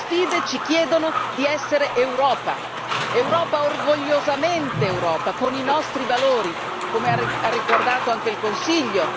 Queste sfide ci chiedono di essere Europa, Europa orgogliosamente Europa, con i nostri valori, come ha ricordato anche il Consiglio.